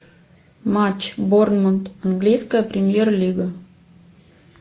матч борнмут английская премьер лига